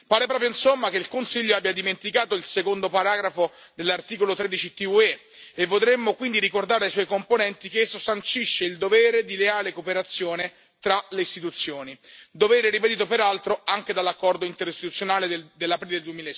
Pare proprio, insomma, che il Consiglio abbia dimenticato il secondo paragrafo dell'articolo 13 TUE e vorremmo quindi ricordare ai suoi componenti che esso sancisce il dovere di leale cooperazione tra le istituzioni, dovere ribadito peraltro anche dall'accordo interistituzionale dell'aprile